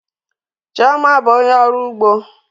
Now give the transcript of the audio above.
Chioma bụ onye ọrụ ugbo